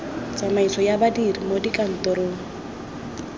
tsamaiso ya badiri mo dikantorong